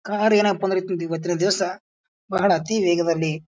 car ಎನಪ್ಪಾ ಅಂದ್ರ ಇವತ್ತಿನ ದಿವಸ ಬಹಳ ಅತಿ ವೇಗದಲ್ಲಿ --